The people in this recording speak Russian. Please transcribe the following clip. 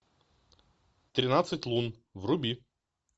тринадцать лун вруби